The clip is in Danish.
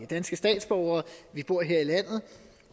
danske statsborgere vi bor her i landet